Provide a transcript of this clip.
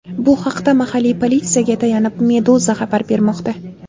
Bu haqda, mahalliy politsiyaga tayanib, Meduza xabar bermoqda .